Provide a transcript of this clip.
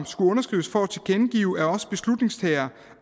skulle underskrives for at tilkendegive at os beslutningstagere